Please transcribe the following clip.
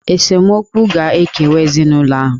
Esemokwu ga-ekewa ezinụlọ ahụ.